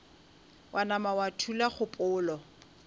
wa nama wa thula kgopolo